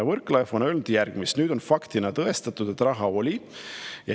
Võrklaev on öelnud järgmist: "Nüüd on faktina tõestatud, et raha oli ja.